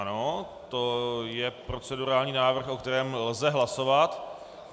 Ano, to je procedurální návrh, o kterém lze hlasovat.